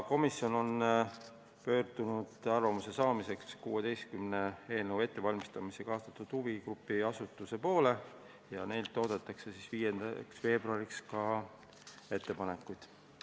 Komisjon on pöördunud arvamuse saamiseks eelnõu ettevalmistamisse kaasatud 16 huvigrupi ja asutuse poole ning neilt oodatakse 5. veebruariks ettepanekuid.